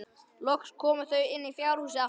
Loks komu þau inn í fjárhúsið aftur.